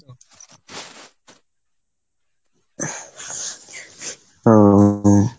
উম